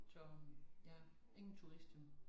Så øh ja ingen turister